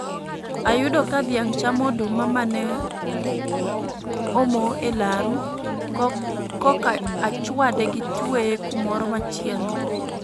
Ayudo ka dhiang' chamo oduma mane omo e laro, koka achwade gi tweye kumoro machielo